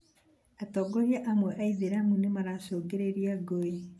atongoria amwe a aithĩramu nĩmaracũngĩrĩria ngũĩ